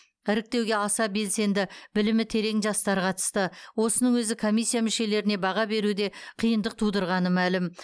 іріктеуге аса белсенді білімі терең жастар қатысты осының өзі комиссия мүшелеріне баға беруде қиындық тудырғаны мәлім